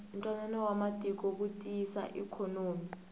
ntwanano wa matiko wu tiyisa ikhonomi